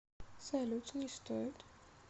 салют не стоит